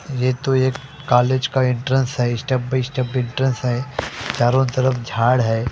यह तो एक कॉलेज का एंट्रंस है स्टेप बाय स्टेप एंट्रंस है चारों तरफ झाड़ है।